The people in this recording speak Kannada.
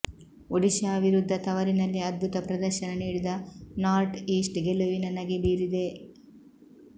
ಒಡಿಶಾ ವಿರುದ್ದ ತವರಿನಲ್ಲಿ ಅದ್ಬುತ ಪ್ರದರ್ಶನ ನೀಡಿದ ನಾರ್ಟ್ ಈಸ್ಟ್ ಗೆಲುವಿನ ನಗೆ ಬೀರಿದೆ